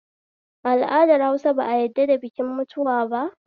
A al'adar Hausa ba a yadda da bikin mutuwa ba?